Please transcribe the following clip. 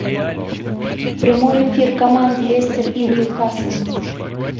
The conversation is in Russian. прямой эфир команд лестер и ньюкасл